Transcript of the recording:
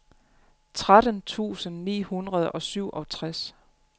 tretten tusind ni hundrede og syvogtres